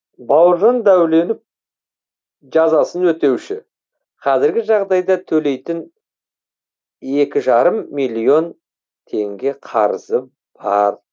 бауыржан дәуленов жазасын өтеуші қазіргі жағдайда төлейтін екі жарым миллион теңге қарызы бар